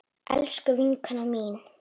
Elsku vinkona mín.